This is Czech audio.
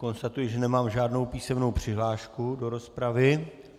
Konstatuji, že nemám žádnou písemnou přihlášku do rozpravy.